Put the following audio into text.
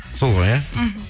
сол ғой иә мхм